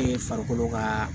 E ye farikolo ka